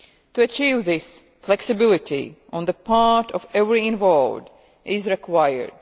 To achieve this, flexibility on the part of everyone involved is required.